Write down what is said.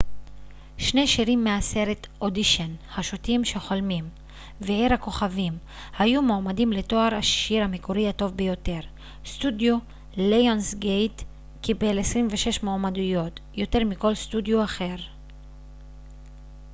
שני שירים מהסרט אודישן השוטים שחולמים ועיר הכוכבים היו מועמדים לתואר השיר המקורי הטוב ביותר. סטודיו ליונסגייט קיבל 26 מועמדויות - יותר מכל סטודיו אחר